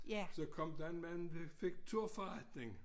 Så kom der en manufekturforretning